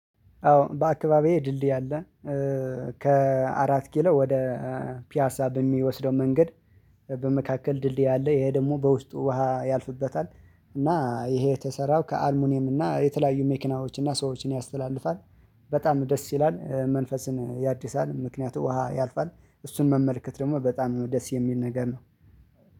አዎ በአካባቢዬ ድልድይ አለ። ከአራት ኪሎ ወደ ፒያሳ በሚወስደው መንገድ በመካከል ድልድይ አለ ይሄ ደግሞ በውስጡ ውሃ ያልፍበታል። እና ይሄ የተሰራው ከአልሙኒየም እና የተለያዩ መኪናዎች እና ሰዎችን ያስተላልፋል። በጣም ደስ ይላል መንፈስን ያድሳል ምክንያቱ ውሃ ያልፋል። እሱን መመልከት ደግሞ በጣም ደስ የሚል ነገር ነው